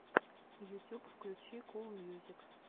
ютюб включи кул мьюзик